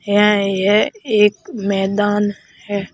यहां यह एक मैदान है।